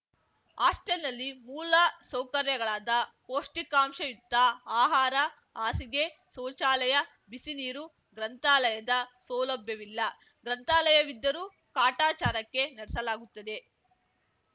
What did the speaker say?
ಹಾಸ್ಟೆಲ್‌ನಲ್ಲಿ ಮೂಲ ಸೌಕರ್ಯಗಳಾದ ಪೌಷ್ಟಿಕಾಂಶಯುಕ್ತ ಆಹಾರ ಹಾಸಿಗೆ ಶೌಚಾಲಯ ಬಿಸಿ ನೀರು ಗ್ರಂಥಾಲಯದ ಸೌಲಭ್ಯವಿಲ್ಲ ಗ್ರಂಥಾಲಯವಿದ್ದರೂ ಕಾಟಾಚಾರಕ್ಕೆ ನಡೆಸಲಾಗುತ್ತದೆ